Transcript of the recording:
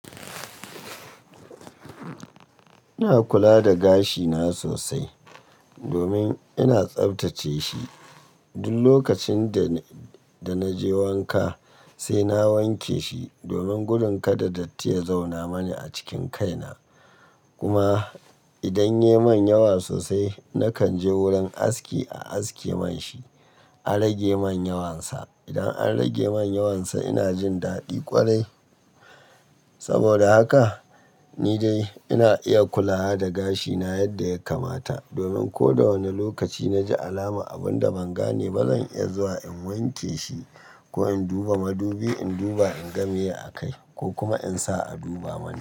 Ina kula da gashi na sosai domin ina tsaftace shi. Duk lokacin da, da naje wanka sai na wanke shi domin gurin kada datti ya zauna mani a cikin kai na. Kuma idan ya manyawa sosai, nakan je wurin aski a aske man shi, a rage manyawansa. Idan an rage manyawansa ina jin daɗi ƙwarai. Saboda haka ni dai ina iya kula da gashi na yadda ya kamata domin ko da wane lokaci na ji alama abun da ban gane ba zan iya zuwa in wanke shi ko in duba madubi, in duba in ga me a kai ko kuma in sa a duba mani.